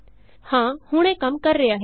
ਹਾਂ ਹੁਣ ਇਹ ਕੰਮ ਕਰ ਰਿਹਾ ਹੈ